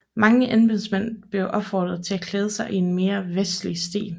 Mange embedsmænd blev opfordret til at klæde sig i en mere vestlig stil